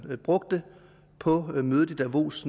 brugte på mødet i davos